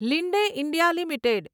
Linde India limited